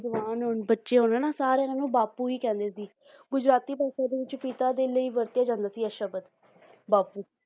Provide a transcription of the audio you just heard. ਜਵਾਨ ਹੋਣ ਬੱਚੇ ਹੋਣ ਹਨਾ ਸਾਰੇ ਇਹਨਾਂ ਨੂੰ ਬਾਪੂ ਹੀ ਕਹਿੰਦੇ ਸੀ ਗੁਜਰਾਤੀ ਭਾਸ਼ਾ ਦੇ ਵਿੱਚ ਪਿਤਾ ਦੇ ਲਈ ਵਰਤਿਆ ਜਾਂਦਾ ਸੀ ਇਹ ਸ਼ਬਦ ਬਾਪੂ